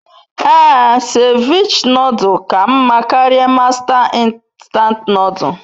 Ee, Cevich nodul ka nma karia Masta nstant nodul